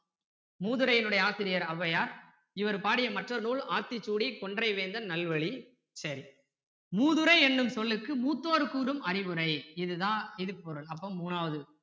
மூதுரையின்னுடைய ஆசிரியர் ஔவையார் இவர் பாடிய மற்ற நூல் ஆத்திச்சூடி கொன்றை வேந்தன் நல்வழி சரி மூதுரை என்னும் சொல்லுக்கு மூத்தோர் கூறும் அறிவுரை இது தான் இதுக்கு பொருள் அப்போ மூணாவது